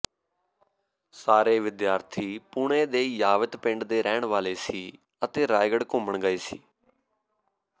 ਸਾਰੇ ਵਿਦੀਆਰਥੀ ਪੁਣੇ ਦੇ ਯਾਵਤ ਪਿੰਡ ਦੇ ਰਹਿਣ ਵਾਲੇ ਸੀ ਅਤੇ ਰਾਏਗੜ੍ਹ ਘੁੰਮਣ ਗਏ ਸੀ